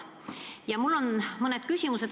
Ka mul on mõned küsimused.